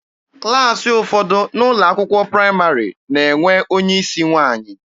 Klassị ụfọdụ n'ụlọ akwụkwọ praịmarị na-enwe onye isi nwaanyị.